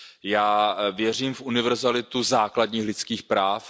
Já věřím v univerzalitu základních lidských práv.